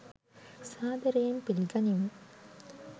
සාදරයෙන් පිළිගනිමි!